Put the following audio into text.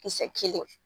Kisɛ kelen